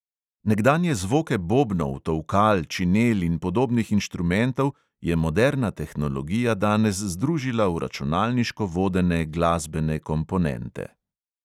Nekdanje zvoke bobnov, tolkal, činel in podobnih inštrumentov je moderna tehnologija danes združila v računalniško vodene glasbene komponente.